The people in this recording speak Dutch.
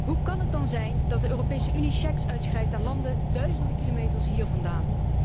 Hoe kan het dan zijn dat de Europese Unie cheques uitschrijft aan landen duizenden kilometers hiervandaan.